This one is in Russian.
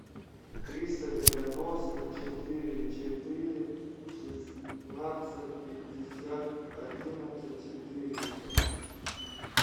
триста девяносто четыре четыре шестнадцать пятьдесят одиннадцать четыреста